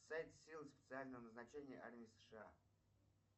сайт сил специального назначения армии сша